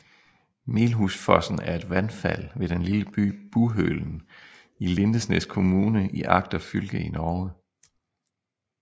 Melhusfossen er et vandfald ved den lille by Buhølen i Lindesnes kommune i Agder fylke i Norge